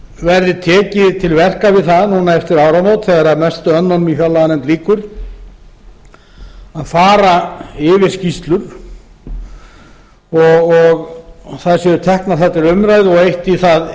verði tekið til verka við það núna eftir áramót þegar mestu önnunum í fjárlaganefnd lýkur að fara yfir skýrslur og þær séu teknar þar til umræðu og eytt í það